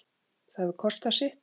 Það hefur kostað sitt.